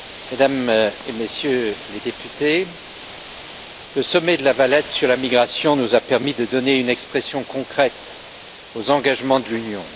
Mesdames et Messieurs les députés, le sommet de La Valette sur la migration nous a permis de donner une expression concrète aux engagements de l'Union.